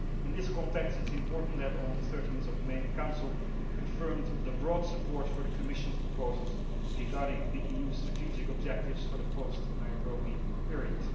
In this context it is important that on 13 May the council confirmed the broad support for the Commission's proposals regarding the EU strategic objectives for the post Nairobi period.